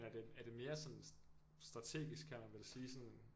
Er det er det mere sådan strategisk kan man vel sige sådan